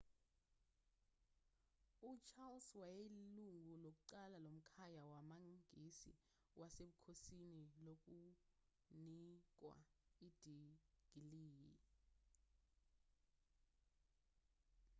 ucharles wayeyilungu lokuqala lomkhaya wamangisi wasebukhosini lokunikwa idigiliyi